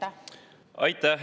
Aitäh!